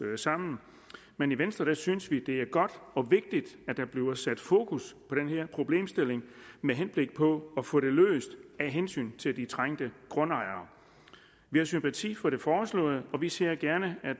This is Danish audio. sammen men i venstres synes vi det er godt og vigtigt at der bliver sat fokus på den her problemstilling med henblik på at få den løst af hensyn til de trængte grundejere vi har sympati for det foreslåede og vi ser gerne at